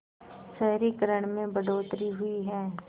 शहरीकरण में बढ़ोतरी हुई है